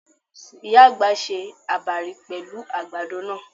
Ìyá àgbà se àbàrí pẹ̀lú àgbàdo náà.